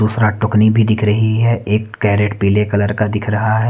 दूसरा टुकनी भी दिख रही है एक केरट पीले कलर का दिख रहा है।